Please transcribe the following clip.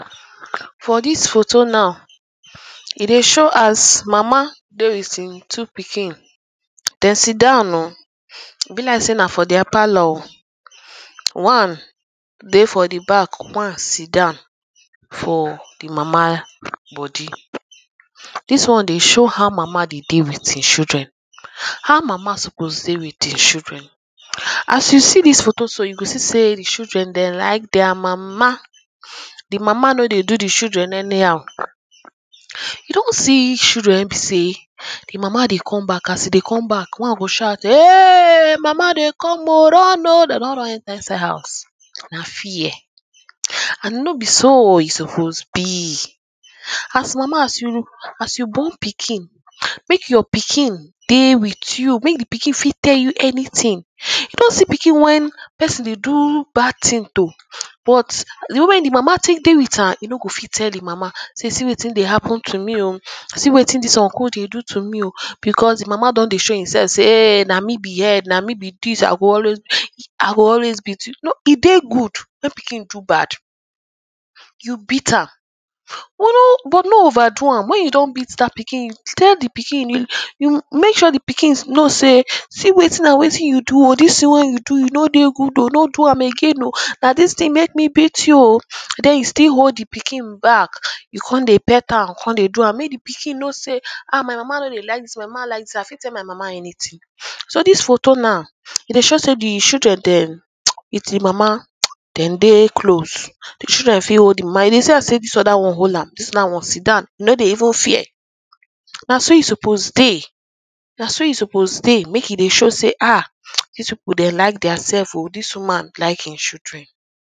For this photo now e dey show as mama dey with hin two pikin them sidown o e be like sey na their parlour o one dey for the back one sidown for the ehhr mama body this one dey show how mama dey with hin children how mama suppose dey with hin children as you see this photo so you see sey the children dey like their mama the mama no dey do the children anyhow you don see children wey be sey the mama dey come back as e dey come back one go shout eeeeehhhh mama dey come o run o they don run enter inside house na fear and no be so e suppose be as mama as you mm as you born pikin make your pikin dey with you make the pikin fit tell you anything you don see pikin when person de do bad thing to but the way the mama de with am no go fit tell the mama sey see wetin dey happen to me o see wetin this uncle dey do to me o because the mama don dey show himselp sey eeh na me be head na me be this i go always gch i go always beat you e dey good make pikin do bad you beat am but no over do am when you don beat that pikin tell the pikin eehhh you make sure the pikin know sey see see wetin and wetin you do o this thinh wey you do do e no dey good o no dem again o nathis thing make me beat you o then you still hold the back you come dey pet am ypu come dey do am make the pikin no sey now mama no dey like this my mama like this i fit tell my mama anything so this photo now so this photo now e dey show sey the children dem emt w?ð h?m mam? mtcht dem dey close the children fit hold the mama you dey see how this other one hold amm this one now sidown e no dey even fear na so e souppose dey na so e suppose dey make e de show sey ahha this people them like theirselves o this women like hin children